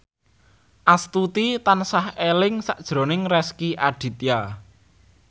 Astuti tansah eling sakjroning Rezky Aditya